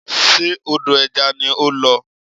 Ṣe odò ẹja ni ó ń lọ?